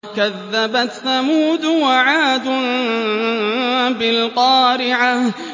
كَذَّبَتْ ثَمُودُ وَعَادٌ بِالْقَارِعَةِ